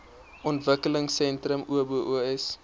ontwikkelingsentrums obos